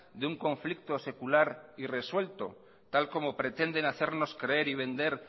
de un conflicto secular y resuelto tal como pretenden hacernos creer y vender